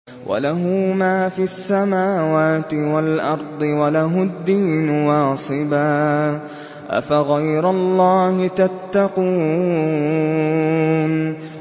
وَلَهُ مَا فِي السَّمَاوَاتِ وَالْأَرْضِ وَلَهُ الدِّينُ وَاصِبًا ۚ أَفَغَيْرَ اللَّهِ تَتَّقُونَ